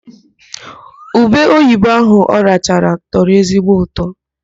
Ube oyibo ahụ ọ rachara tọrọ ezigbo ụtọ.